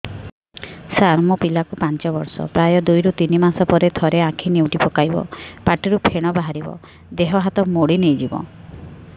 ସାର ମୋ ପିଲା କୁ ପାଞ୍ଚ ବର୍ଷ ପ୍ରାୟ ଦୁଇରୁ ତିନି ମାସ ରେ ଥରେ ଆଖି ନେଉଟି ପକାଇବ ପାଟିରୁ ଫେଣ ବାହାରିବ ଦେହ ହାତ ମୋଡି ନେଇଯିବ